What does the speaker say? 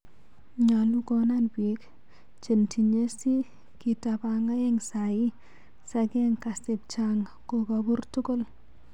Nyalu konan pik cheng tiyen si kitapang aeng sai sakeng kasep chang kokapur tugul.